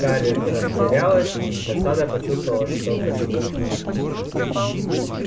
скарлетт растерялась и с досадой почувствовала что краснеет